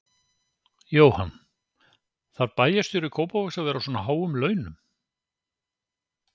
Jóhann: Þarf bæjarstjóri Kópavogs að vera á svona háum launum?